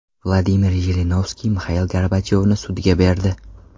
Vladimir Jirinovskiy Mixail Gorbachyovni sudga berdi .